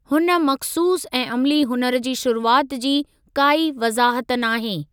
हुन मख़सूसु ऐं अमली हुनुर जी शुरूआति जी काई वज़ाहत नाहे।